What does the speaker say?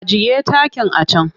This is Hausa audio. Ajiye takin a can!